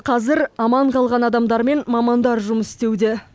қазір аман қалған адамдармен мамандар жұмыс істеуде